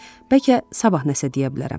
Bəlkə sabah nəsə deyə bilərəm.